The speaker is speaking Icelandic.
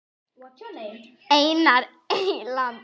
Einar Eyland.